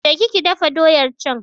Ki je ki dafa doyar can!